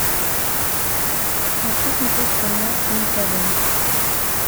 хочу смотреть канал нтв